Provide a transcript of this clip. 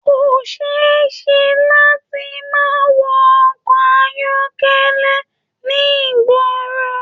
Ko ṣe é ṣe láti má wọ ọkọ ayọkẹlẹ ní ìgboro.